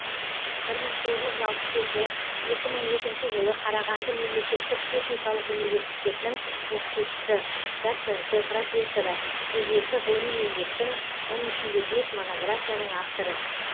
бір мың тоғыз жүз алпыс жеті екі мың екінші жылы қарағанды мемлекеттік техникалық университетінің оқытушысы доценті профессоры жүз екі ғылыми еңбектің оның ішінде бес монографияның авторы